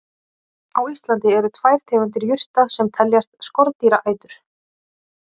Á Íslandi eru tvær tegundir jurta sem teljast skordýraætur.